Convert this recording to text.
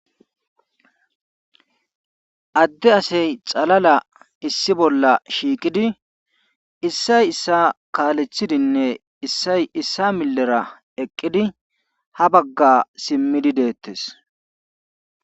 Adde asay xalala issi bolla shiiqidi issay issay kaaalethidinne issa millera eqqidi ha bagga simmidi deettes.